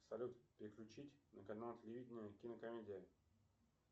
салют переключить на канал телевидения кинокомедия